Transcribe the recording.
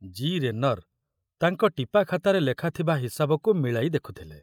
G. ରେନର ତାଙ୍କ ଟିପାଖାତାରେ ଲେଖା ଥିବା ହିସାବକୁ ମିଳାଇ ଦେଖୁଥିଲେ।